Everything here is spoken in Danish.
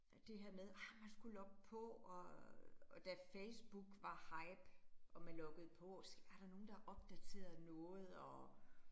Det her med, ej man skulle logge på, og og da Facebook var hype, og man loggede på, se er der nogen, der har opdateret noget og